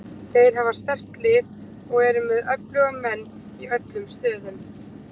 Þeir hafa sterkt lið og eru með öfluga leikmenn í öllum stöðum.